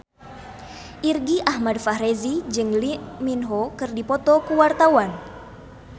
Irgi Ahmad Fahrezi jeung Lee Min Ho keur dipoto ku wartawan